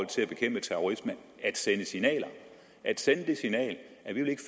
til bekæmpe terrorisme at sende signaler at sende det signal at vi ikke